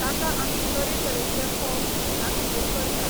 ताका आमी तरे तरेचे फोव कृष्णा खातीर करतात.